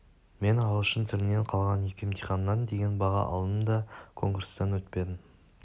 мен ағылшын тілінен қалған екі емтиханнан деген баға алдым да конкурстан өтпедім